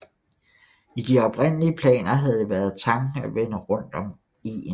I de oprindelige planer havde været det tanken at vende rundt om egen